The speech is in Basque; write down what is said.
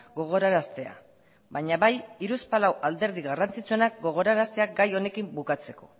gogoraraztea baina bai hiruzpalau alderdi garrantzitsuenak gogoraraztea gai honekin bukatzeko